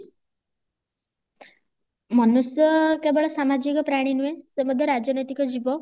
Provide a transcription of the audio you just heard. ମନୁଷ୍ୟ କେବଳ ସାମାଜିକ ପ୍ରାଣୀ ନୁହେଁ ସେ ମଧ୍ୟ ରାଜନୈତିକ ଜୀବ